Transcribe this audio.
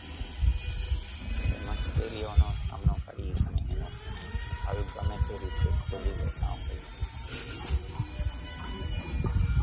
તે મુશ્કેલીઓનો સામનો કરી અને એનો હલ ગમે તે રીતે ખોજી લેતા હોય છે.